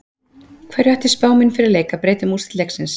Hverju ætti spá mín fyrir leik að breyta um úrslit leiksins?